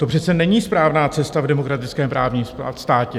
To přece není správná cesta v demokratickém právním státě.